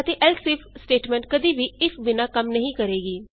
ਅਤੇ else if statement ਕਦੀ ਵੀ ਇਫ ਬਿਨਾ ਕੰਮ ਨਹੀਂ ਕਰੇਗੀ